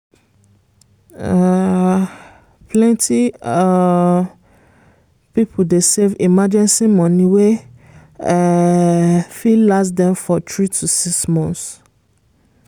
um plenty um people dey save emergency money wey um fit last dem for 3-6 months.